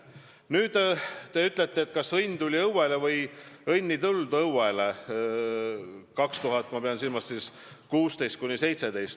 Nüüd sellest, kas õnn tuli õuele või õnn ei tulnud õuele aastail 2016–2017.